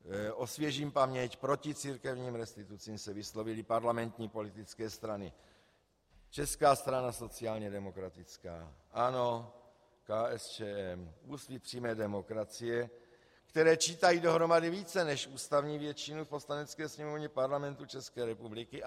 Osvěžím paměť - proti církevním restitucím se vyslovily parlamentní politické strany: Česká strana sociálně demokratická, ANO, KSČM, Úsvit přímé demokracie, které čítají dohromady více než ústavní většinu v Poslanecké sněmovně Parlamentu České republiky.